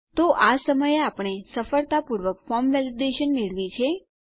તો આ સમયે આપણે સફળતાપૂર્વક ફોર્મ વેલીડેશન મેળવી છે